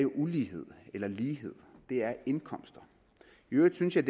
ulighed eller lighed det er indkomster i øvrigt synes jeg